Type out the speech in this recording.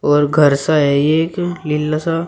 और घर सा है ये एक लीला सा--